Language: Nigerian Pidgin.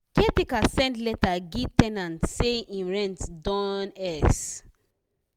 caretaker send letter gie ten ant say him rent don x